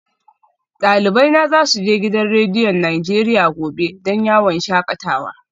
Dalibai na za su je gidan rediyon Najeriya gobe don yawon shakatawa